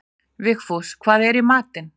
Vigfús, hvað er í matinn?